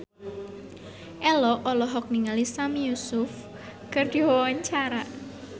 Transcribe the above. Ello olohok ningali Sami Yusuf keur diwawancara